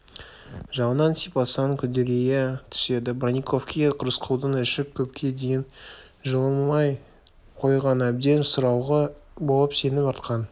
жалынан сипасаң күдірейе түседі бронниковке рысқұлдың іші көпке дейін жылымай қойған әбден сыралғы болып сенім артқан